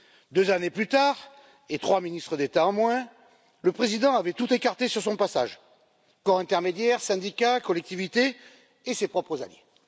Deux années plus tard, et trois ministres d'État en moins, le président avait tout écarté sur son passage corps intermédiaires, syndicats, collectivités et ses propres amis.